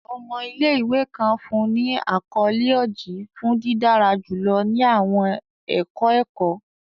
Ọmọ ile-iwe kan fun ni akọle Oji fun didara julọ ni awọn ẹkọ ẹkọ.